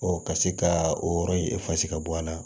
ka se ka o yɔrɔ in ka bɔ an na